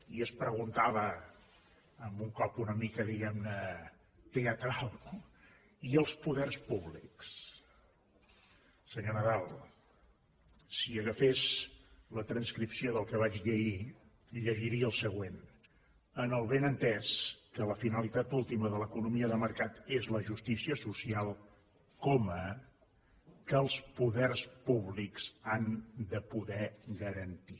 i es preguntava amb un cop una mica diguem ne teatral i els poders públics senyor nadal si agafés la transcripció del que vaig dir ahir llegiria el següent amb el benentès que la finalitat última de l’economia de mercat és la justícia social coma que els poders públics han de poder garantir